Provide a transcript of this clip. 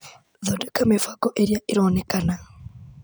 Thondeka mĩbango ĩrĩa ĩronekana.